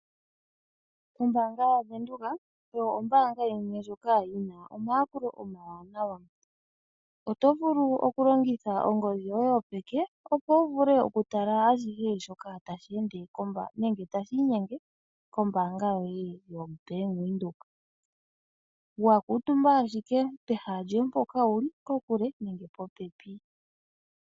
Ombaanga yaVenduka oyo ombaanga yimwe ndjoka yi na omayakulo omawanawa. Oto vulu oku longitha ongodhi yoye yopeke opo wu tale ashihe shoka tashi ende nenge tashi inyenge kombaanga yoye yoBank Windhoek wa kuutumba ashike pehala lyoye mpoka wuli kokule nenge popepi.